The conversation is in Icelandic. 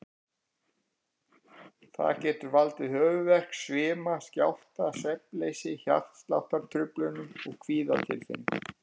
Það getur valdið höfuðverk, svima, skjálfta, svefnleysi, hjartsláttartruflunum og kvíðatilfinningu.